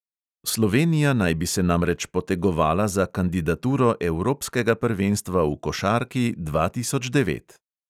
Slovenija naj bi se namreč potegovala za kandidaturo evropskega prvenstva v košarki dva tisoč devet.